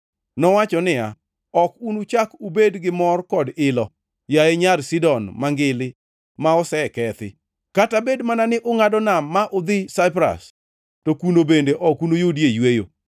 Nowacho niya, “Ok unuchak ubed gi mor kod ilo, yaye Nyar Sidon Mangili ma osekethi! “Kata bed mana ni ungʼado nam ma udhi Saipras to kuno bende ok unuyudie yweyo.”